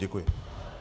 Děkuji.